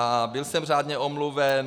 A byl jsem řádně omluven.